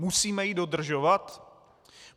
Musíme ji dodržovat?